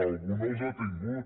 algú no els ha tingut